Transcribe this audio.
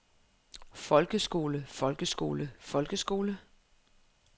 folkeskole folkeskole folkeskole